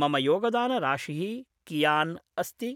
मम योगदानराशिः कियान् अस्ति